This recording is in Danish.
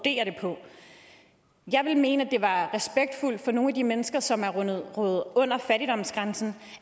jeg vil mene at for nogle af de mennesker som er kommet under under fattigdomsgrænsen